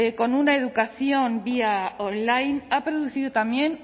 con una educación vía on line ha producido también